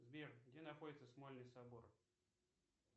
сбер где находится смольный собор